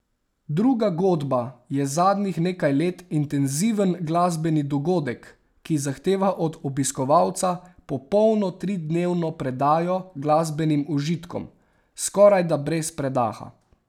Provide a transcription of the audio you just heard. Druga godba je zadnjih nekaj let intenziven glasbeni dogodek, ki zahteva od obiskovalca popolno tridnevno predajo glasbenim užitkom, skorajda brez predaha.